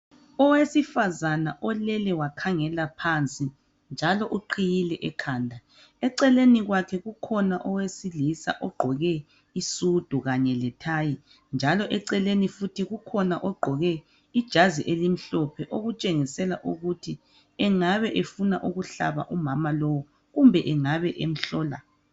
Owesifazana olele wakhangela phansi njalo uqhiyile ekhanda eceleni kwakhe kukhona owesilisa ogqoke isudu kanye lethayi njalo eceleni futhi kukhona ogqoke ijazi elimhlophe okutshengisela ukuthi engabe efuna ukuhlaba umama lowu kumbe engabe emhlola.